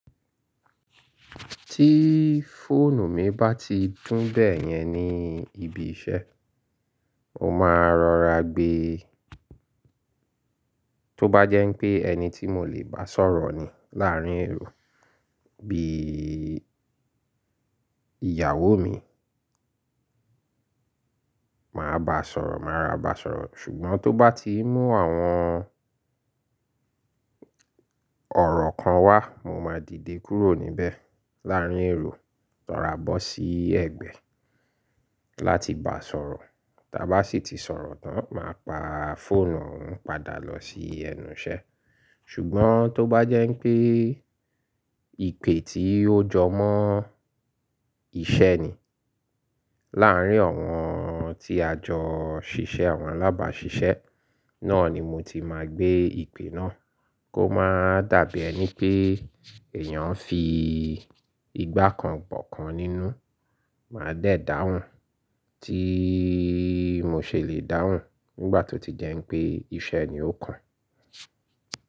Tí fóònù mi bá ti dùn bẹ́yẹn ní ibi iṣẹ́, mo máa rọra gbe. Tó bá jẹ́ pé ẹni tí mo lè bá sọ̀rọ̀ ni láàárín èrò bí ìyàwó mi, màá bá sọ̀rọ̀, màá ro ra bá sọ̀rọ̀. Ṣùgbọ́n tó bá ti mú àwọn ọ̀rọ̀ kan wá, mo máa dìde kúrò níbẹ̀ láàárín èrò ro ra bọ́ sí ẹ̀gbẹ́ láti bá sọ̀rọ̀. Tí a bá sì ti sọ̀rọ̀ tán, màá pa fóònù náà padà lọ sí ẹnu iṣẹ́. Ṣùgbọ́n tó bá jẹ́ pé ìpè tí ó jọmọ́ iṣẹ́ ni láàárín àwọn tí a jọ ṣiṣẹ́, àwọn alábàáṣiṣẹ́, náà ni mo ti máa gbé ìpè náà kó má dàbí ẹni pé èèyàn fi ìgbà kan gbọ̀kan nínú. Màá dẹ̀ dáhùn, tí mo ṣe lè dáhùn nígbà tó ti jẹ́ pé iṣẹ́ ni ó kan.